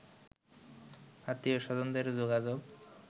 আত্মীয়-স্বজনদের যোগাযোগ